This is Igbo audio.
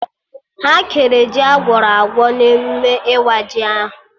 Ha kere ji Agwọrọ agwọ na emụme ịwa ji ahụ